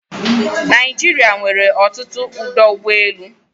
Naijiria nwere ọtụtụ ọdọ ụgbọelu